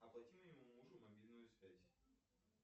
оплати моему мужу мобильную связь